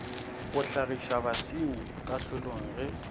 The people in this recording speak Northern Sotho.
go hlagiša basenyi kahlolong ge